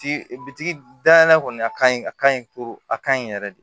Bitigi dayɛlɛ kɔni a ka ɲi a ka ɲi a ka ɲi yɛrɛ de